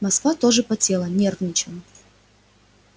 москва тоже потела нервничала